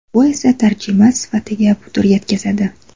Bu esa tarjima sifatiga putur yetkazadi.